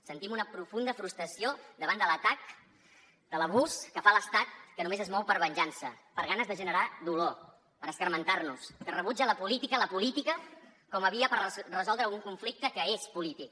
sentim una profunda frustració davant de l’atac de l’abús que fa l’estat que només es mou per venjança per ganes de generar dolor per escarmentar nos que rebutja la política la política com a via per resoldre un conflicte que és polític